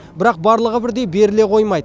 бірақ барлығы бірдей беріле қоймайды